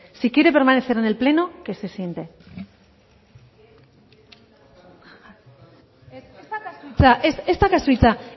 si quiere permanecer en el pleno que se siente ez daukazu hitza